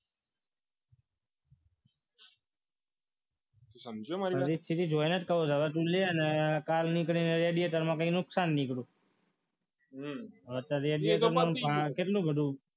સમજ્યો મારી વાત દરેક સિરીઝ સિરીઝ જોઇને કહું તો કાલે લવ ને કાલે એડવેટર મને નુકસાન નીકળી હવે એવીએટર માં કેટલું બધું